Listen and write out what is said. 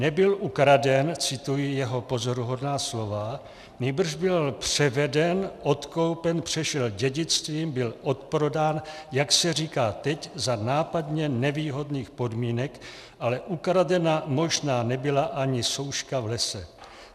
Nebyl ukraden - cituji jeho pozoruhodná slova -, nýbrž byl převeden, odkoupen, přešel dědictvím, byl odprodán, jak se říká teď, za nápadně nevýhodných podmínek, ale ukradena možná nebyla ani souška v lese.